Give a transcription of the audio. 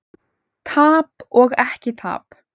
Tap og ekki tap?